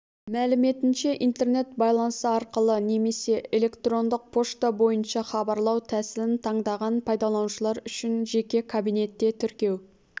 мәліметінше интернет байланысы арқылы немесе электрондық пошта бойынша хабарлау тәсілін таңдаған пайдаланушылар үшін жеке кабинетте тіркеу